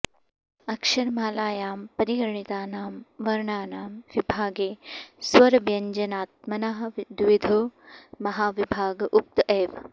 अक्षरमालायां परिगणितानां वर्णानां विभागे स्वरव्यञ्जनात्मना द्विविधो महाविभाग उक्त एव